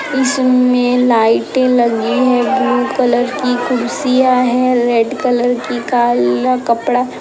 इसमें लाइटें लगी है। ब्लू कलर की कुर्सियां है रेड कलर की काल्ला कपड़ा --